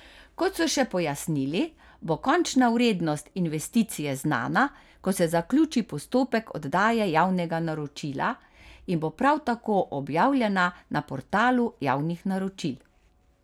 Kot so še pojasnili, bo končna vrednost investicije znana, ko se zaključi postopek oddaje javnega naročila, in bo prav tako objavljena na portalu javnih naročil.